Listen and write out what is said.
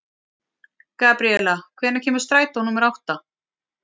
Gabriela, hvenær kemur strætó númer átta?